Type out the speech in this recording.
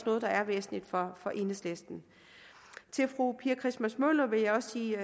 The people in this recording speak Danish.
noget der er væsentligt for for enhedslisten til fru pia christmas møller vil jeg også sige